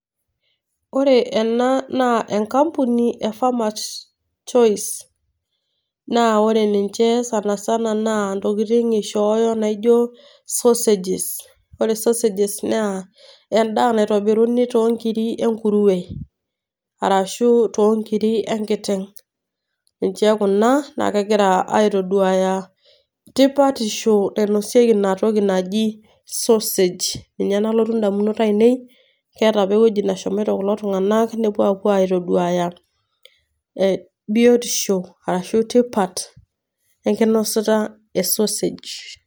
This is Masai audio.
Ore ena naa enkambuni e Farmers Choice. Naa ore ninche sanasana naa intokitin eishooyo naijo sausages. Ore sausages naa endaa naitobiruni too inkiri e nkuruwe, arashu toonkiri enkiteng'. Niche kuna naa kegira aitoduaya tipatisho nainosieki Ina toki naji sausage, ninye nalotu indamunot aainei. Keata opa ewueji nashomoito kulo tung'ana nepuo aapuo aitoduaya biotisho ashu tipat enkinosata e sausage.